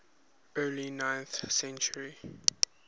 early ninth century